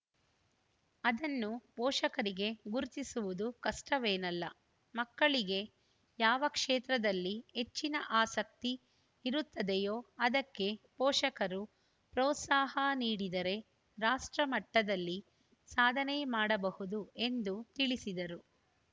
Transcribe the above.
ಅದನ್ನು ಪೋಷಕರಿಗೆ ಗುರುತಿಸುವುದು ಕಷ್ಟವೇನಲ್ಲ ಮಕ್ಕಳಿಗೆ ಯಾವ ಕ್ಷೇತ್ರದಲ್ಲಿ ಹೆಚ್ಚಿನ ಆಸಕ್ತಿ ಇರುತ್ತದೆಯೋ ಅದಕ್ಕೆ ಪೋಷಕರು ಪ್ರೋತ್ಸಾಹ ನೀಡಿದರೆ ರಾಷ್ಟ್ರ ಮಟ್ಟದಲ್ಲಿ ಸಾಧನೆ ಮಾಡಬಹುದು ಎಂದು ತಿಳಿಸಿದರು